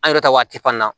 An yɛrɛ ta waati fana na